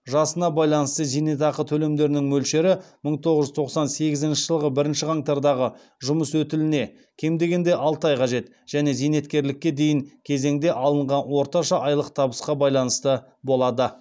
жасына байланысты зейнетақы төлемдерінің мөлшері мың тоғыз жүз тоқсан сегізінші жылғы бірінші қаңтардағы жұмыс өтіліне және зейнеткерлікке дейін кезеңде алынған орташа айлық табысқа байланысты болады